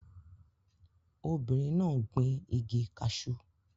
Obìnrin náà gbin igi cashew